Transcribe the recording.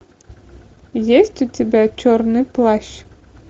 есть у тебя черный плащ